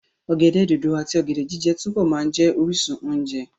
Ọ̀gẹ̀dẹ̀ dòdò àti ọ̀gẹ̀dẹ̀ jíjẹ túbọ̀ máa jẹ́ orísun oúnjẹ.